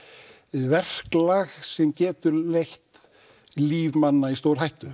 verklag sem getur leitt líf manna í stórhættu